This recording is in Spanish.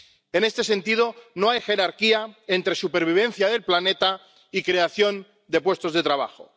En este sentido, no hay jerarquía entre supervivencia del planeta y creación de puestos de trabajo.